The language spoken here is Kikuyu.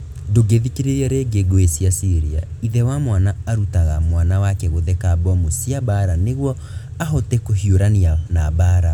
Ndũngĩthikĩrĩria rĩngi, Ngũĩ cia Syria: Ithe wa mwana arutaga mwana wake gũtheka mbomu cia mbaara nĩguo ahote kũhiũrania na mbaara